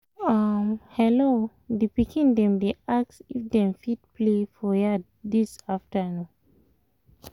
hello! the pikin dem dey ask if dem fit play for your yard this afternoon